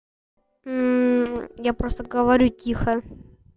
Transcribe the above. я просто говорю тихо